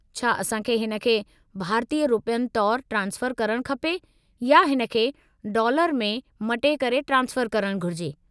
छा असां खे हिन खे भारतीय रुपयनि तौरु ट्रांसफ़रु करणु खपे या हिन खे डॉलर में मटे करे ट्रांसफ़रु करणु घुरिजे?